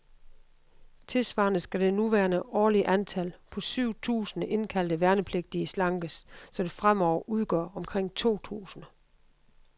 Tilsvarende skal det nuværende årlige antal, på syv tusinde indkaldte værnepligtige, slankes, så det fremover udgør omkring to tusinde.